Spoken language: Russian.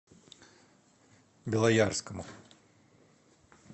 белоярскому